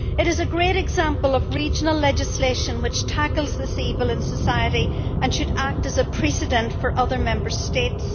It is a great example of regional legislation which tackles this evil in society, and should act as a precedent for other Member States.